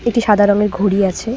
একটি সাদা রঙের ঘড়ি আছে।